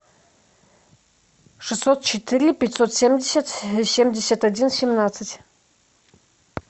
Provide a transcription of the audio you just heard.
шестьсот четыре пятьсот семьдесят семьдесят один семнадцать